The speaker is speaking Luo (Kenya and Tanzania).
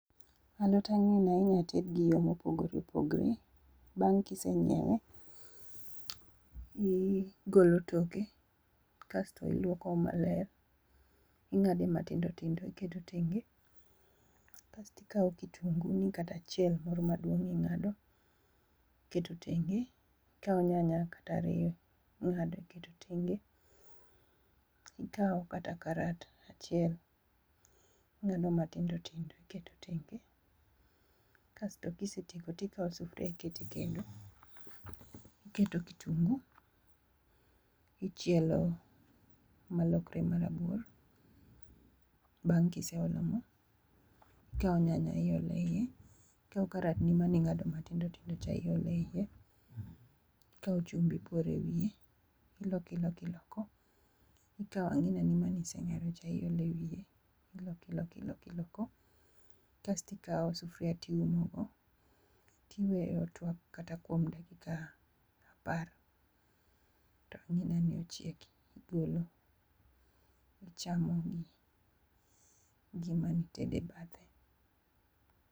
Alot ang'ina inyalo ted gi yo mopogore opogore, bang' ka isenyiewe, igolo toke, ing'ade matindo tindo, iketo tenge kasto ikawo kitunguni kata achiel moro maduong' ing'ado iketo tenge, ikawo nyanya kata ariyo ing'ado iketo tenge, ikawo kata karat achiel ing'ado matindo tindo iketo tenge, kasto ka isetieko ikawo sufuria iketo e kendo, iketo kitungu ichielo malokre marabuor bang' ka iseolo mo, ikawo nyanya iolo e iye, ikawo karatni mane ing'ado matindo tindo cha ipolo eiye kaeto ikawo chumbi iporo ewiye, iloko iloko iloko. Ikawo ang'inani mane iseng'do cha iketo eiye kaeto iloko iloko iloko kasto ikawo sufuria to iumogo, iweye otuak kata kuom dakika apar to king'eyo ni ochiek, igolo ichamo gi gima ne itedo e bathe.